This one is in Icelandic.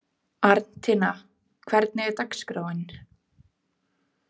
Arntinna, hvernig er dagskráin?